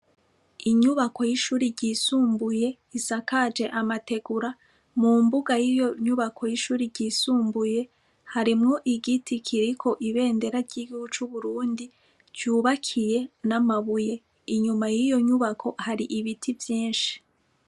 Inyubako y'ishuri ryisumbuye isakaje amategura mu mbuga y'iyo nyubako y'ishuri ryisumbuye harimwo igiti kiriko ibendera ryiguco uburundi vyubakiye n'amabuye inyuma y'iyo nyubako hari ibiti vyinshi.